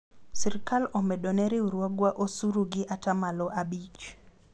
sirikal omedo ne riwruogwa osuru gi atamalo abich